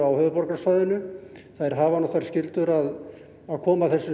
höfuðborgarsvæðinu hafa þær skyldur að koma þessum